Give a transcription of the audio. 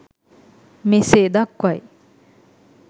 මෙසේ දක්වයි.